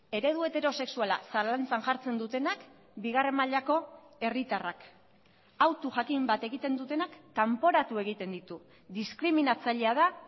eredu heterosexuala zalantzan jartzen dutenak bigarren mailako herritarrak hautu jakin bat egiten dutenak kanporatu egiten ditu diskriminatzailea da